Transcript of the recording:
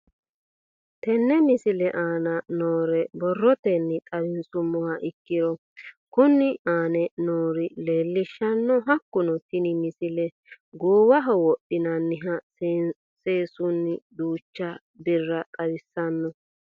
Tenne misile aana noore borrotenni xawisummoha ikirro kunni aane noore leelishano. Hakunno tinni misile goowaho wodhinaniha seesuniha duucha birra xawissanno